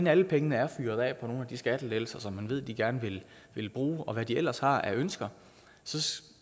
alle pengene er fyret af på nogle af de skattelettelser som man ved de gerne vil bruge eller hvad de ellers har af ønsker